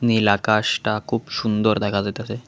নীল আকাশটা খুব সুন্দর দেখা যাইতাসে।